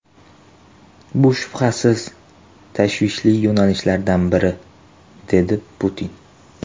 Bu, shubhasiz, tashvishli yo‘nalishlardan biridir”, dedi Putin.